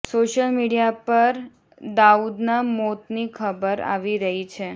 social media પર દાઉદના મોતની ખબર આવી રહી છે